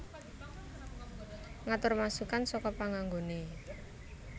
Ngatur masukkan saka panganggoné